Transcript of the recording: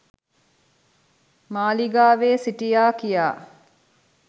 මාලිගාවෙ සිටියා කියා